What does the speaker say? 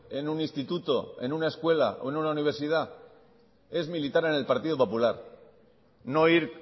en un instituto en una escuela o en una universidad es militar en el partido popular no ir